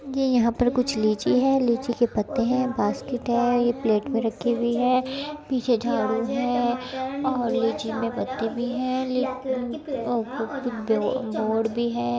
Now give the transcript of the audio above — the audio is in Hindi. यह यहाँ पर कुछ लीची है लीची के पत्ते है बास्केट है ये प्लेट पे रखी हुए है पीछे झाड़ू है और लीची में पत्ते भी है एक मोड़ भी है।